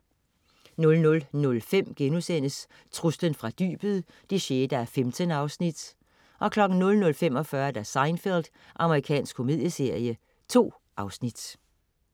00.05 Truslen fra dybet 6:15* 00.45 Seinfeld. Amerikansk komedieserie. 2 afsnit